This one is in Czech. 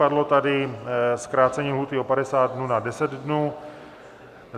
Padlo tady zkrácení lhůty o 50 dnů na 10 dnů.